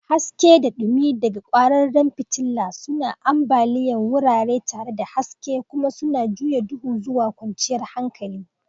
Haske da dumi daga kwararan fitila suna ambaliya wurare tare da haske kuma suna juya duhu zuwa kwanciyar hankali.